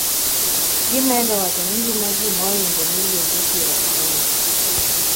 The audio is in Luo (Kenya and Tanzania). gimedo wacho ni ngima ji moingo milionde piero ariyo